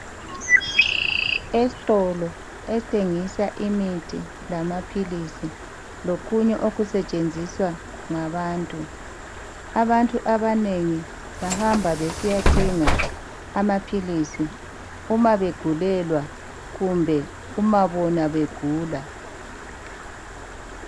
Esitolo esithengisa imithi lamaphilisi lokunye okusetshenziswa ngabantu. Abantu abanengi bahamba besiyathenga amaphilisi uma begulelwa kumbe uma bona begula